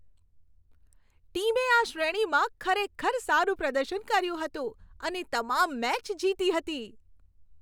ટીમે આ શ્રેણીમાં ખરેખર સારું પ્રદર્શન કર્યું હતું અને તમામ મેચ જીતી હતી.